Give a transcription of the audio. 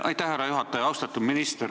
Aitäh, härra juhataja!